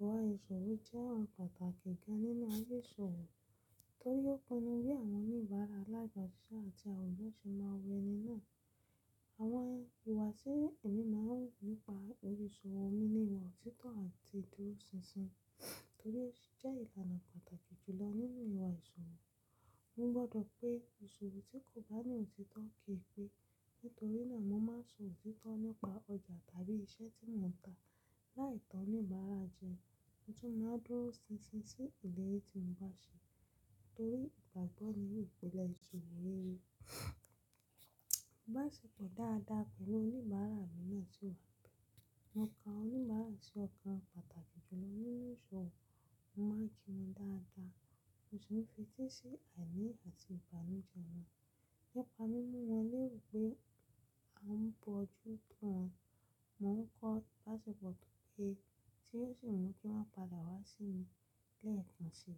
Ìwà ìṣòwò jẹ́ ohun pàtàkì gán nínú ayé ìṣòwò, torí ó pinnu bi àwọn oníbàárà láì gba òṣìṣẹ́ àti àwọn elomii se máa wé’ni náà. Àwọn ìwà tí èmi máa ń wu nípa òrisòwò mi ni ìwà òtítọ́ àti ìdúróṣinṣin, torí jẹ́ ìlànà pàtàkì jùlọ nínú ìwà ìṣòwò. Mo gbọ́dọ̀ pé ìṣòwò tí kò bá ní òtítọ́ kì í pé, nítorí náà mo máa ń sọ òtítọ́ nípa ọjà tàbí iṣẹ́ tí mo ń ta, láì tọ́ni ìbára jẹ, mo tún máa dúró ṣinṣin sí ilé ẹbí tí mo bá ṣe, torí ìgbàgbọ́ ni ìpìlẹ̀ ìṣòwò rere. Baṣepọ̀ dáadáa pẹ̀lú oníbàárà mi náà ti wà. Mo ka oníbàárà sí ọkàn pàtàkì jùlọ nínú ìṣòwò, mo máa ń kí wọn dáadáa, mo sì ń fetí sí àìní àti ìbànújẹ́ wọn. Nípa mímú wọn léwu pé a ń bọjú tó wọn, mo ń kọ́ ibaṣepọ̀ tó péye tí yóò sì mú kí wọ́n padà wá sí mi lẹ́ẹ̀kan ṣi.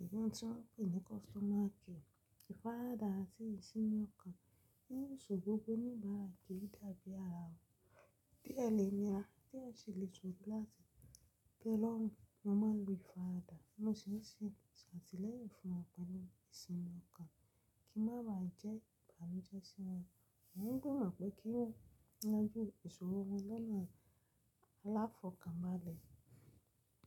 Ohun tí wọ́n pè ní customer care. Ifarada àti ìsinmi ọkàn ni ìṣòwò gbogbo oníbàárà kì í dàbí ara wọn. Láti tee lorun, mo máa ń lo ifarada, mo sì ń ṣe ṣàti leyin fún wọn pẹ̀lú ìsinmi ọkàn kí n má ba à jẹ́ ìbànújẹ́ sí wọn. Mo gbimo pé kí n lájú ìṣòwò wọn lọ́nà aláfọ̀kànbalẹ̀.